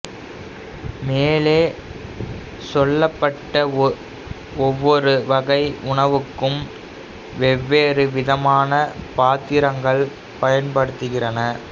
மேலே சொல்லப்பட்ட ஒவ்வொரு வகை உணவுக்கும் வெவ்வேறு விதமான பாத்திரங்கள் பயன்படுகின்றன